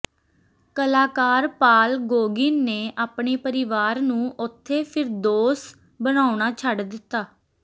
ਕਲਾਕਾਰ Paul Gauguin ਨੇ ਆਪਣੇ ਪਰਿਵਾਰ ਨੂੰ ਉੱਥੇ ਫਿਰਦੌਸ ਬਣਾਉਣਾ ਛੱਡ ਦਿੱਤਾ